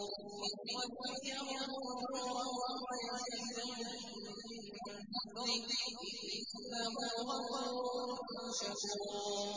لِيُوَفِّيَهُمْ أُجُورَهُمْ وَيَزِيدَهُم مِّن فَضْلِهِ ۚ إِنَّهُ غَفُورٌ شَكُورٌ